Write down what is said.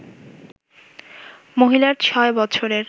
মহিলার ছয় বছরের